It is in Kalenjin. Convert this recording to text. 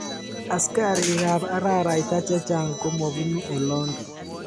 Askarik ab araraita chchang komapuni olondo.